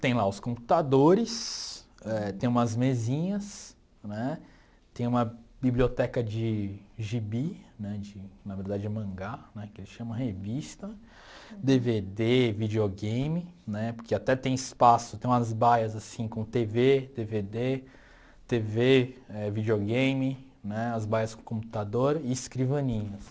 Tem lá os computadores, eh tem umas mesinhas né, tem uma biblioteca de gibi, né, de na verdade é mangá, né, que ele chama revista, dê vê dè, videogame, né, porque até tem espaço, tem umas baias com tê vê, dê vê dê, tê vê, videogame, né, as baias com computador e escrivaninhas.